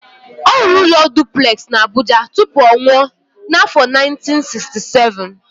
Ọ rụrụ ụlọ duplex na Abuja tupu ọ nwụọ n'afọ 1967.